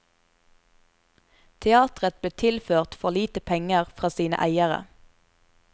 Teatret ble tilført for lite penger fra sine eiere.